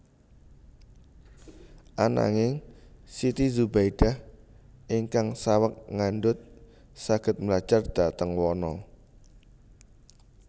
Ananging Siti Zubaidah ingkang saweg ngandhut saged mlajar dhateng wana